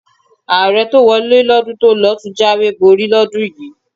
Ààrẹ tó wọlé lọ́dún tó lọ ló tún jáwèé borí lọ́dún yìí.